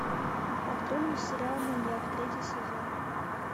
открой мне сериал маньяк третий сезон